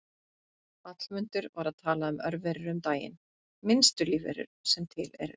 Hallmundur var að tala um örverur um daginn, minnstu lífverur sem til eru.